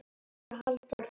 eftir Halldór Þormar